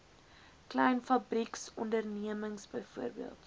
klein fabrieksondernemings bv